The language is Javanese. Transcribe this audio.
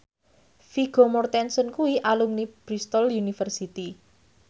Vigo Mortensen kuwi alumni Bristol university